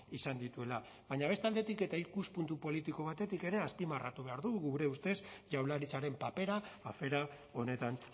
izan dituela baina beste aldetik eta ikuspuntu politiko batetik ere azpimarratu behar dugu gure ustez jaurlaritzaren papera afera honetan